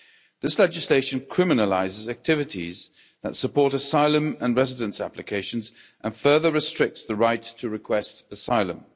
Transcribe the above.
This legislation criminalises activities that support asylum and residence applications and further restricts the right to request asylum.